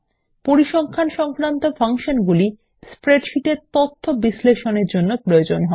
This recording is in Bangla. পরিসংখ্যান সংক্রান্ত ফাংশনগুলি স্প্রেডশীট এর তথ্য বিশ্লেষণের জন্য প্রয়োজন হয়